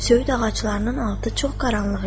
Söyüd ağaclarının altı çox qaranlıq idi.